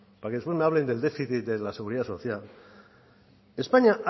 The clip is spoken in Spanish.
para que ustedes me hablen del déficit de la seguridad social españa